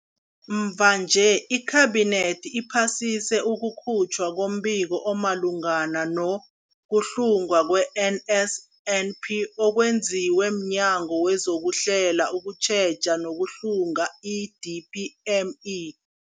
Mvanje, iKhabinethi iphasise ukukhutjhwa kombiko omalungana no-kuhlungwa kwe-NSNP okwenziwe mNyango wezokuHlela, ukuTjheja nokuHlunga, i-DPME.